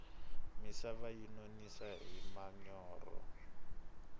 misava yi nonisa hi manyorha